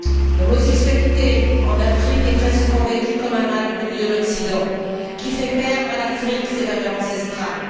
L'homosexualité en Afrique est très souvent vécue comme un mal venu de l'Occident, qui fait perdre à l'Afrique ses valeurs ancestrales.